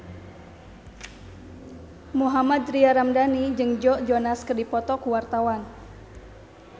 Mohammad Tria Ramadhani jeung Joe Jonas keur dipoto ku wartawan